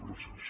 gràcies